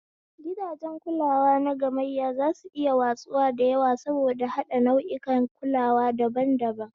Gidajen kulawa nagamayya zasu iya watsuwa da yawa saboda haɗa nau'ikan kulawa daban-daban.